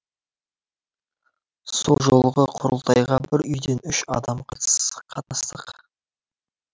сол жолғы құрылтайға бір үйден үш адам қатынастық